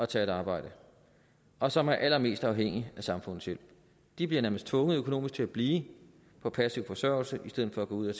tage et arbejde og som er allermest afhængige af samfundets hjælp de bliver nærmest tvunget økonomisk til at blive på passiv forsørgelse i stedet for at gå ud og